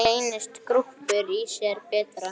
Reynist grúppur í sér bera.